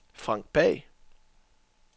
Frank Pagh